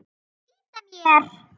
Ég er að flýta mér!